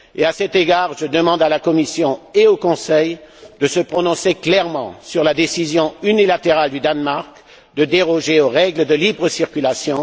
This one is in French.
À cet égard, je demande à la Commission et au Conseil de se prononcer clairement sur la décision unilatérale du Danemark de déroger aux règles de libre circulation.